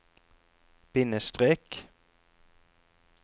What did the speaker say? bindestrek